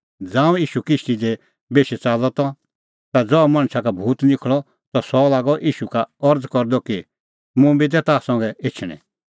ज़ांऊं ईशू किश्ती दी बेशी च़ाल्लअ ता ज़हा मणछा का भूत निखल़अ त सह लागअ ईशू का अरज़ करदअ कि मुंबी दै ताह संघै एछणैं